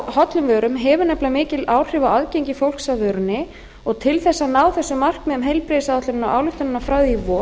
hollum vörum hefur nefnilega mikil áhrif á aðgengi fólks að vörunni og til þess að ná þessum markmiðum heilbrigðisáætlunarinnar ályktunarinnar frá því í